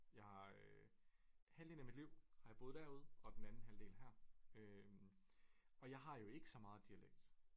Jeg øh halvdelen af mit liv har jeg boet derude og den anden halvdel her øh og jeg har jo ikke så meget dialekt